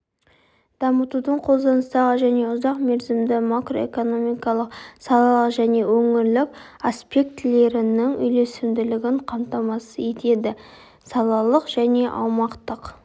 дамытудың қолданыстағы және ұзақмерзімді макроэкономикалық салалық және өңірлік аспектілерінің үйлесімділігін қамтамасыз етеді салалық және аумақтық